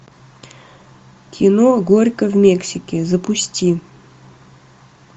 кино горько в мексике запусти